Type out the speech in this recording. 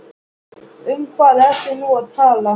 Um hvað ertu nú að tala?